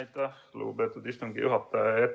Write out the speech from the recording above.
Aitäh, lugupeetud istungi juhataja!